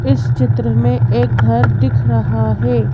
इस चित्र में एक घर दिख रहा है।